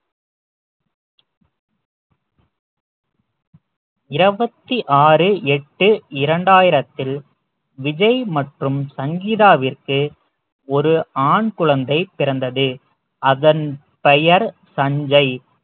இருபத்தி ஆறு எட்டு இரண்டாயிரத்தில் விஜய் மற்றும் சங்கீதாவிற்கு ஒரு ஆண் குழந்தை பிறந்தது அதன் பெயர் சஞ்சய்